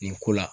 Nin ko la